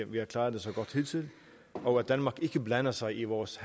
vi har klaret det så godt hidtil og at danmark ikke blander sig i vores